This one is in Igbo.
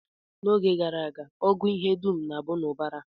N'oge gboo, ọgụ ihe dum na-abụ n'ubara